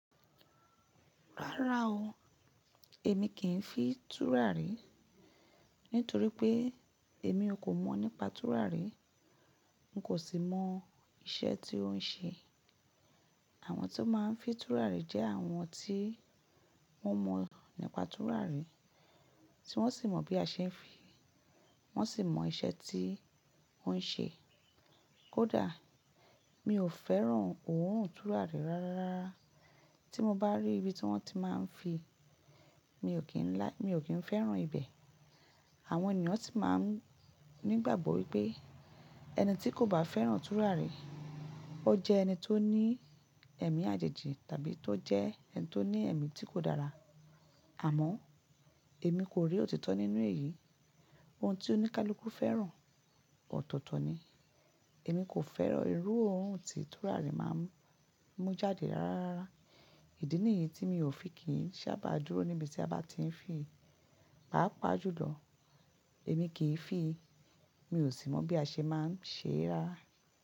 Rárá o, èmi kì í fi tùràrí, nítorí pé èmi ò kò mọ̀ nípa tùràrí, n kò sì mọ iṣẹ́ tí ó ń ṣe. Àwọn tí ó máa ń fi tùràrí jẹ́ àwọn tí wọ́n mọ̀ nípa tùràrí, tí wọ́n sì mọ bí a ṣe ń fi, wọ́n sì mọ iṣẹ́ tí ó ń ṣe. Kódà, mi ò fẹ́ràn òórùn tùràrí rárára. Tí mo bá rí ibi tí wọ́n ti máa ń fin mi ò kí ń lá-- mi ò kí ń fẹ́ràn ibẹ̀. Àwọn ènìyàn sì máa ń nígbàgbọ́ wípé ẹni tí kò bá fẹ́ràn tùràrí, ó jẹ́ ẹni tó ní ẹ̀mí àjèjì tàbí tó jẹ́ ẹni tó ní ẹ̀mí tí kò dára. Àmọ́ èmi kò rí òtítọ́ nínú èyí. Ohun tí oníkálukú fẹ́ràn, ọ̀tọ̀ọ̀tọ̀ ni. Èmi kò fẹ́ràn irú ohun tí tùràrí máa ń mú jáde rárára. Ìdí nìyí tí mi ò fi kì í sábà dúró níbi tí a bá ti ń fi. Paapà jùlọ, èmi kì í fi, mi ò sì mọ̀ bí a ṣe máa ń ṣe rára.